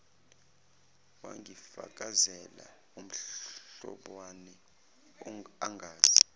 wangifakazela umlobane angazi